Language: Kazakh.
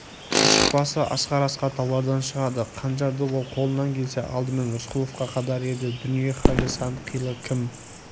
шыршықбасы асқар-асқар таулардан шығады қанжарды ол қолынан келсе алдымен рысқұловқа қадар еді дүние халі сан қилы кім